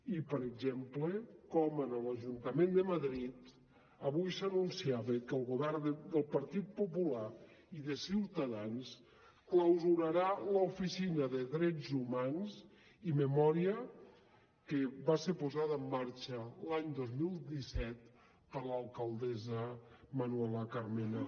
i per exemple com en l’ajuntament de madrid avui s’anunciava que el govern del partit popular i de ciutadans clausurarà l’oficina de drets humans i memòria que va ser posada en marxa l’any dos mil disset per l’alcaldessa manuela carmena